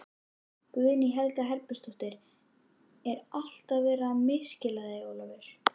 Guðný Helga Herbertsdóttir: Er alltaf verið að misskilja þig Ólafur?